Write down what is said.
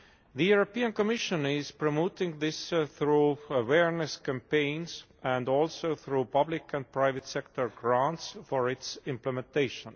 The European Commission is promoting this through awareness campaigns and also through public and private sector grants for its implementation.